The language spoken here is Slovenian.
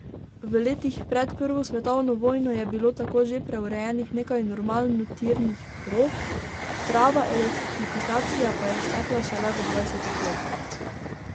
V letih pred prvo svetovno vojno je bilo tako že preurejenih nekaj normalnotirnih prog, prava elektrifikacija pa je stekla šele v dvajsetih letih.